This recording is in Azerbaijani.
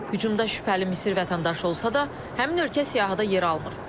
Hücumda şübhəli Misir vətəndaşı olsa da, həmin ölkə siyahıda yer almır.